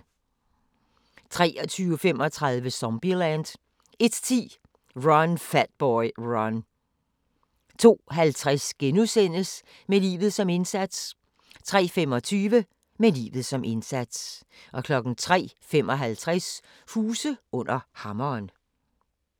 23:35: Zombieland 01:10: Run, Fat Boy, Run 02:50: Med livet som indsats * 03:25: Med livet som indsats 03:55: Huse under hammeren